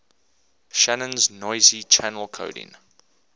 shannon's noisy channel coding